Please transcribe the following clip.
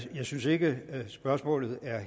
synes ikke spørgsmålet er